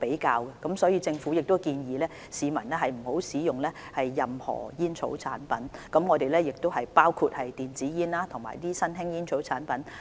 因此，政府建議市民不要使用任何煙草產品，包括電子煙和新型吸煙產品。